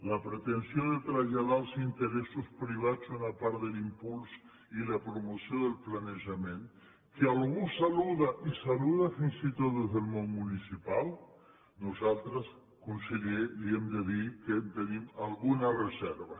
la pretensió de traslladar als interessos privats una part de l’impuls i la promoció del planejament que algú saluda i saluda fins i tot des del món municipal nosaltres conseller li hem de dir que hi tenim alguna reserva